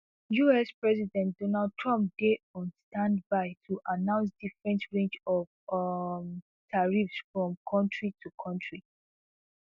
us president donald trump dey on standby to announce different range of um tariffs from kontri to kontri